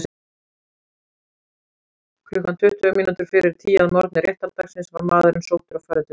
Klukkan tuttugu mínútur fyrir tíu að morgni réttardagsins var maðurinn sóttur og færður til dóms.